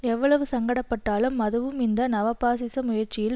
எவ்வளவு சங்கடப்பட்டாலும் அதுவும் இந்த நவ பாசிச முயற்சியில்